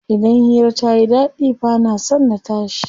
Idan hira tayi ɗaɗi bana son na tashi.